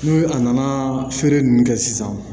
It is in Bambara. N'u a nana feere ninnu kɛ sisan